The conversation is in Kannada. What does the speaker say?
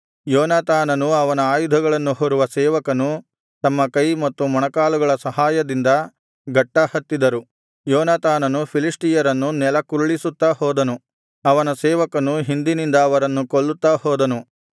ಯೋನಾತಾನನೂ ಅವನ ಆಯುಧಗಳನ್ನು ಹೊರುವ ಸೇವಕನೂ ತಮ್ಮ ಕೈ ಮತ್ತು ಮೊಣಕಾಲುಗಳ ಸಹಾಯದಿಂದ ಗಟ್ಟಾ ಹತ್ತಿದರು ಯೋನಾತಾನನು ಫಿಲಿಷ್ಟಿಯರನ್ನು ನೆಲಕ್ಕುರುಳಿಸುತ್ತಾ ಹೋದನು ಅವನ ಸೇವಕನು ಹಿಂದಿನಿಂದ ಅವರನ್ನು ಕೊಲ್ಲುತ್ತಾ ಹೋದನು